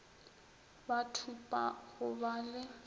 ba thupa go ba le